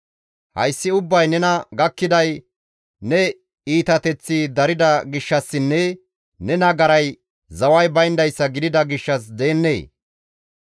Hayssi ubbay nena gakkiday ne iitateththi darida gishshassinne ne nagaray zaway bayndayssa gidida gishshas gidennee?